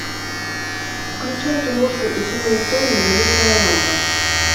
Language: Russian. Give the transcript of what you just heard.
включай киношку утиные истории заветная лампа